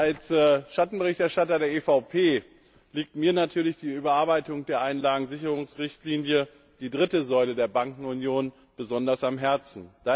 Als Schattenberichterstatter der EVP liegt mir natürlich die Überarbeitung der Einlagensicherungsrichtlinie der dritten Säule der Bankenunion besonders am Herzen.